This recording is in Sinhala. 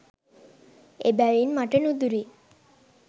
එබැවින් මට නුදුරින්